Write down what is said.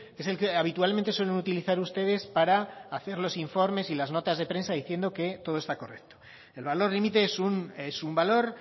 es el que habitualmente suelen utilizar ustedes para hacer los informes y las notas de prensa diciendo que todo está correcto el valor límite es un valor